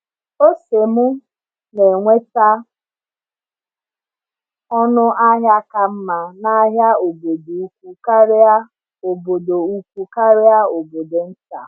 Ọse m na-enweta ọnụ ahịa ka mma n’ahịa obodo ukwu karịa obodo ukwu karịa nke obodo nta.